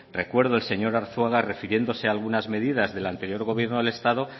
recuerdo el señor arzuaga refiriéndose a algunas medidas del anterior gobierno del estado